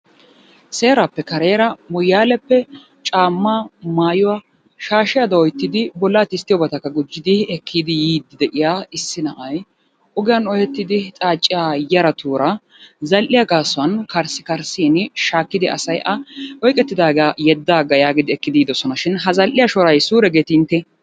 Seerappe kareera Moyyaleppe caama, maayuwa shashshiyaduwa oottidi bolla tisttiyobatakka gijjidi ekkidi yiidi de'iya issi na'ay ogiyaan ohettidi xaaciya yaratuura zal"iyaa gaasuwan kariskarissin shaakkidi asay a oyqqetidaaga yeddaaga yaagidi ekkidi yiidoosona shin ha zal"iyaa shoray suure geeti intte?